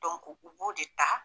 Dɔnku, u b'o de ta.